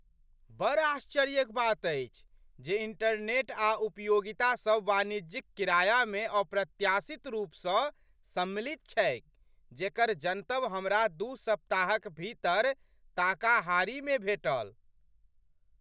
बड़ आश्चर्यक बात अछि जे इंटरनेट आ उपयोगितासभ वाणिज्यिक किरायामे अप्रत्याशित रूपसँ सम्मिलित छैक जेकर जनतब हमरा दू सप्ताहक भीतर ताकाहारीमे भेटल।